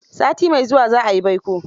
Sati mai zuwa za a yi baiko.